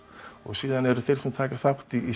eru þeir sem taka þátt í